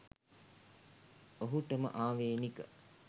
ඔහුටම ආවේණික